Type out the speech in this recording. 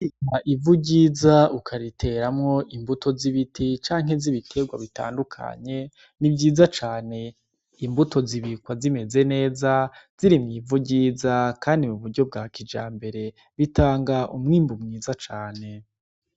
Ivu ryiza ukariteramwo imbuto z'ibiti canke z'ibiterwa bitandukanye ni vyiza cane, imbuto zibikwa zimeze neza ziri mw'ivu ryiza kandi mu buryo bwa kijambere, bitanga umwimbu mwiza cane.